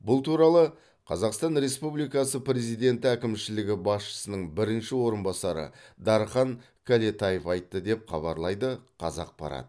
бұл туралы қазақстан республикасы президенті әкімшілігі басшысының бірінші орынбасары дархан кәлетаев айтты деп хабарлайды қазақпарат